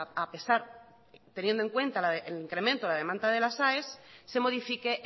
a pesar teniendo en cuenta el incremento la demanda de las aes se modifique